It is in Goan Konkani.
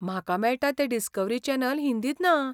म्हाका मेळटा तें डिस्कव्हरी चॅनल हिंदींत ना.